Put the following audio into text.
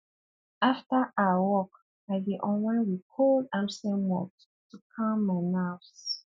after um work i dey unwind with cold amstel malt to calm my nerves